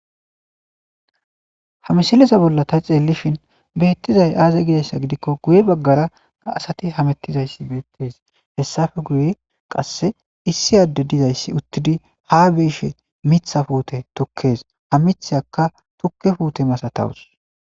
Ha misileza bolla ta xeellishin beettizay aaza gizassa gidikko guye baggara asati hamettizayssi beettes hessafe guye qasse issi adde dizayssi uttidi ha beeshe mitha puute tukkees ha mitheaka tukke puute masatawus